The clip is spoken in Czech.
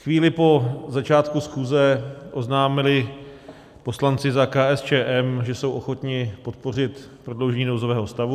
Chvíli po začátku schůze oznámili poslanci za KSČM, že jsou ochotni podpořit prodloužení nouzového stavu.